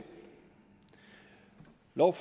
noget